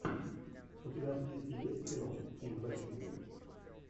у тебя в списке есть кино ким бейсингер